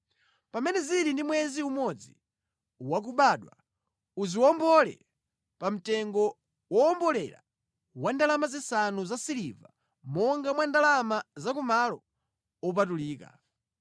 Pamene zili ndi mwezi umodzi wa kubadwa, uziwombole pa mtengo wowombolera wa ndalama zisanu zasiliva, monga mwa ndalama za ku malo wopatulika.